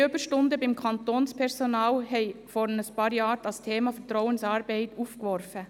Extreme Überstunden beim Kantonspersonal haben vor ein paar Jahren das Thema Vertrauensarbeit aufgeworfen.